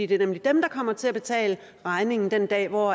det er nemlig dem der kommer til at betale regningen den dag hvor